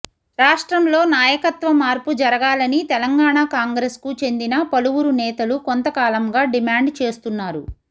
రాష్ట్రంలో నాయకత్వ మార్పు జరగాలని తెలంగాణ కాంగ్రెస్కు చెందిన పలువురు నేతలు కొంత కాలంగా డిమాండ్ చేస్తున్నారు